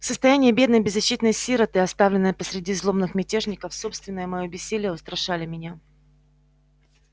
состояние бедной беззащитной сироты оставленной посреди злобных мятежников собственное моё бессилие устрашали меня